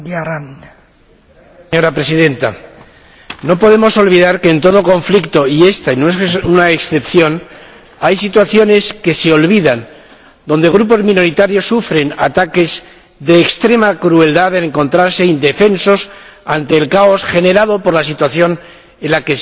Señora Presidenta, no podemos olvidar que, en todo conflicto —y este no es una excepción—, hay situaciones que se olvidan, donde grupos minoritarios sufren ataques de extrema crueldad, al encontrarse indefensos ante el caos generado por la situación en la que se han visto involucrados.